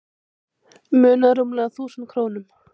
Munaði rúmlega þúsund krónum